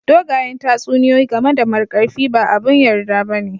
Dogayen tatsuniyoyi game da Markarfi ba abin yarda ba ne